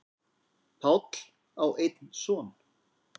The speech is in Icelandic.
Páll á einn son.